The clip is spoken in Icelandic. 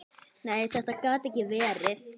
Nei, þetta gat ekki verið.